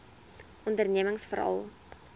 ondernemingsveral